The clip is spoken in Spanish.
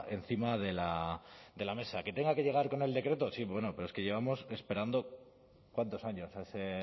encima de la mesa que tenga que llegar con el decreto sí bueno pero es que llevamos esperando cuántos años ese